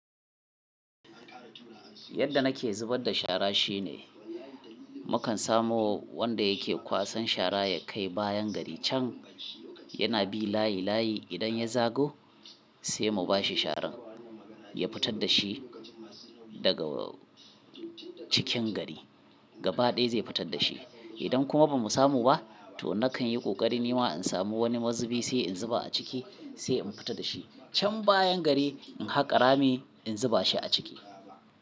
Yadda nake zubar da shara shine mukan samu wanda yake kwasan shara ya kai bayan gari can, yana bi layi layi idan ya zago sai mu ba shi sharan ya fitar da shi daga cikin gari. Gaba ɗaya zai fitar da shi. Idan kuma ba mu samu ba to na kan yi ƙoƙari nima in samu wani mazubi sai in zuba a ciki sai in fita da shi. Can bayan gari in haƙa rami in zuba shi a ciki.